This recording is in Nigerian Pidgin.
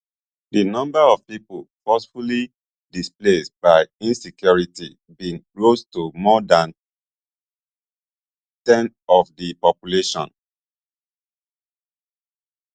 di number of pipo forcibly displaced by insecurity bin rose to more dan ten of di population